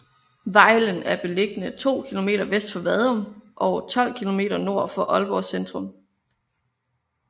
Vejlen er beliggende to kilometer vest for Vadum og 12 kilometer nord for Aalborg centrum